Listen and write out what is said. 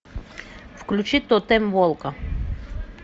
включи тотем волка